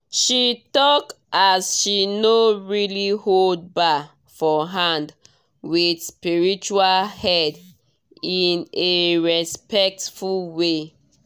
she talk as she no really hold bar for hand with spiritual head in a respectful way